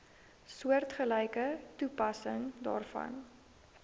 soortgelyke toepassing daarvoor